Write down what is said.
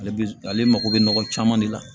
Ale bɛ ale mako bɛ nɔgɔ caman de la